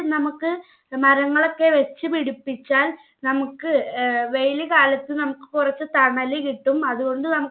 നമ്മുക്ക് മാറ്റങ്ങളൊക്കെ വെച്ച് പിടിപ്പിച്ചാൽ നമ്മുക്ക് ഏർ വെയില് കാലത് നമ്മുക്ക് കുറച്ച് തണല് കിട്ടും അതുകൊണ്ട് നമ്മക്ക്